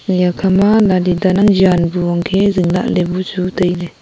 eyan khama yali dan ang jan bu angkhe zing lahley buchu tailey.